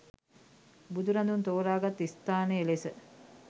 බුදුරදුන් තෝරා ගත් ස්ථානය ලෙස